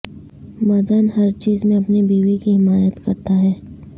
مدن ہر چیز میں اپنی بیوی کی حمایت کرتا ہے